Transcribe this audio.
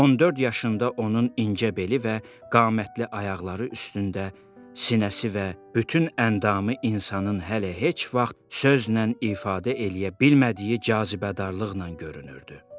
14 yaşında onun incə beli və qamətli ayaqları üstündə sinəsi və bütün əndamı insanın hələ heç vaxt sözlə ifadə eləyə bilmədiyi cazibədarlıqla görünürdü.